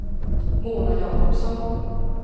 Mona Jakobsson